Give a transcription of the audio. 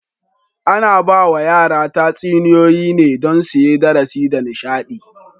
Ana ba wa yara tatsuniyoyi ne don suyi darasi da nishaɗi.